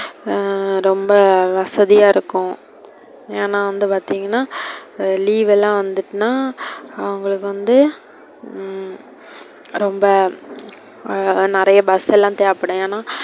அஹ் ரொம்ப வசதியா இருக்கு. ஏன்னா வந்து பார்த்திங்கனா leave எல்லாம் வந்துடுத்துனா, அவங்களுக்கு வந்து ரொம்ப நெறையா bus லாம் தேவைப்படும். ஏன்னா,